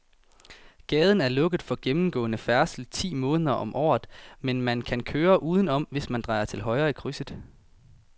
Gaden er lukket for gennemgående færdsel ti måneder om året, men man kan køre udenom, hvis man drejer til højre i krydset.